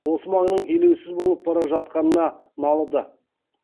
осы маңның елеусіз болып бара жатқанына налыды